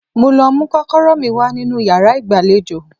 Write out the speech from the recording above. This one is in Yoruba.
Mo lọ mú kọ́kọ́rọ́ mi wá nínú yàrá ìgbàlejò